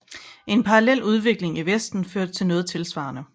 En parallel udvikling i vesten førte til noget tilsvarende